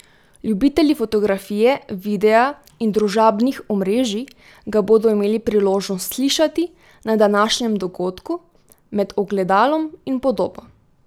Ljubitelji fotografije, videa in družabnih omrežij ga bodo imeli priložnost slišati na današnjem dogodku Med ogledalom in podobo.